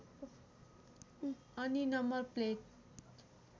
अनि number plate